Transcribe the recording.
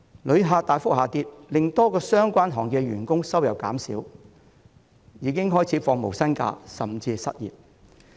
旅客數目大幅下跌令多個相關行業的員工收入減少，他們已經開始放無薪假甚至失業。